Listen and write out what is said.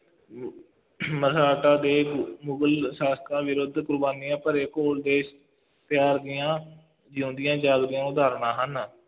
ਦੇ ਮੁਗਲ ਸ਼ਾਸ਼ਕਾਂ ਵਿਰੁੱਧ ਕੁਰਬਾਨੀਆਂ ਭਰੇ ਘੋਲ ਦੇ ਦੀਆਂ ਜਿਉਂਦੀਆਂ ਜਾਗਦੀਆਂ ਉਦਾਹਰਣਾਂ ਹਨ